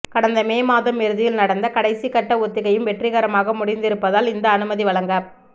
கடந்த மே மாத இறுதியில் நடந்த கடைசிக்கட்ட ஒத்திகையும் வெற்றிகரமாக முடிந்திருப்பதால் இந்த அனுமதி வழங்கப்